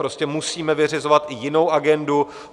Prostě musíme vyřizovat i jinou agendu.